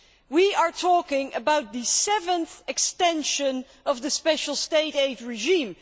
We are talking about the seventh extension of the special State aid regime.